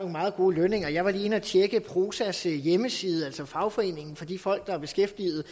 meget gode lønninger jeg var lige inde at tjekke prosas hjemmeside altså fagforeningen for de folk der er beskæftiget